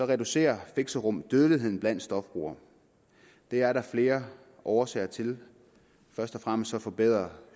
reducerer fixerum dødeligheden blandt stofbrugere det er der flere årsager til først og fremmest forbedrer